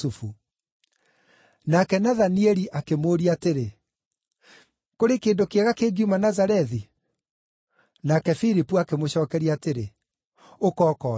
Nake Nathanieli akĩmũũria atĩrĩ, “Kũrĩ kĩndũ kĩega kĩngiuma Nazarethi?” Nake Filipu akĩmũcookeria atĩrĩ, “Ũka ũkoone.”